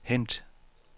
hent